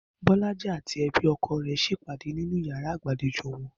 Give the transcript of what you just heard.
Bó̩lájí àti e̩bí o̩ko̩ rè̩ s̩e ìpàdé nínú yàrá ìgbàlejò wo̩n lánàá